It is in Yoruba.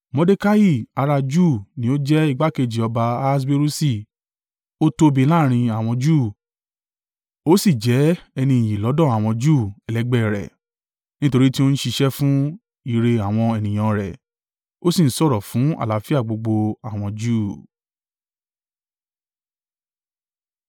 Mordekai ará Júù ni ó jẹ́ igbákejì ọba Ahaswerusi, ó tóbi láàrín àwọn Júù, ó sì jẹ́ ẹni iyì lọ́dọ̀ àwọn Júù ẹlẹgbẹ́ ẹ rẹ̀, nítorí tí ó ń ṣiṣẹ́ fún ìre àwọn ènìyàn an rẹ̀, ó sì ń sọ̀rọ̀ fún àlàáfíà gbogbo àwọn Júù.